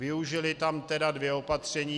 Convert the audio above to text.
Využili tam tedy dvě opatření.